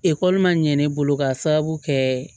Ekɔli man ɲɛn ne bolo k'a sababu kɛ